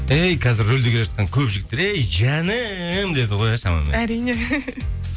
әй қазір рөлде келе жатқан көп жігіттер әй жаным деді ғой иә шамамен әрине